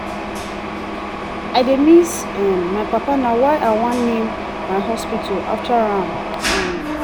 i dey miss um my papa na why i wan name my hospital after am um